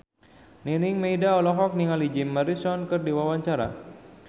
Nining Meida olohok ningali Jim Morrison keur diwawancara